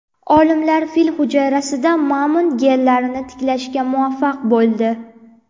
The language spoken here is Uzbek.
Olimlar fil hujayrasida mamont genlarini tiklashga muvaffaq bo‘ldi.